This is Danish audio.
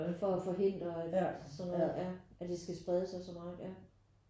For at forhindre sådan noget ja at det skal sprede sig så meget ja